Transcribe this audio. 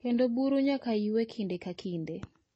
kendo buru nyaka ywe kinde ka kinde.